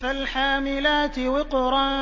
فَالْحَامِلَاتِ وِقْرًا